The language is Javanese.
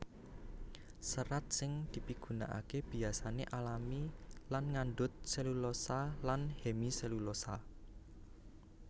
Serat sing dipigunakaké biasané alami lan ngandhut selulosa lan hemiselulosa